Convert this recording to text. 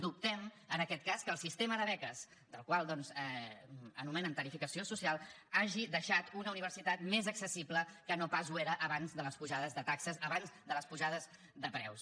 dubtem en aquest cas que el sistema de beques el qual doncs anomenen tarifació social hagi deixat una universitat més accessible que no pas ho era abans de les pujades de taxes abans de les pujades de preus